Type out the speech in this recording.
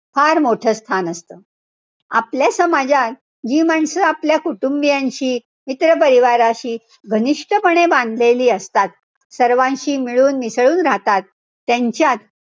फार मोठं स्थान असतं. आपल्या समाजात जी माणसं आपल्या कुटुंबियांशी, मित्रपरिवाराशी घनिष्टपणे भांडलेली असतात. सर्वांशी मिळूनमिसळून राहतात. त्यांच्यात,